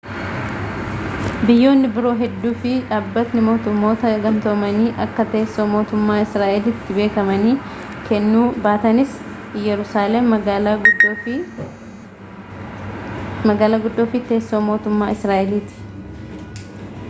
biyyoonni biroo hedduu fi dhabbanni mootummoota gamtoomanii akka teessoo mootummaa israa'elitti beekamtii kennuu baatanis iyyeruusaalem magaala guddoo fi teessoo mootummaa israa'eliiti